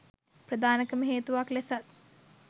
ප්‍රධානකම හේතුවක් ලෙසත්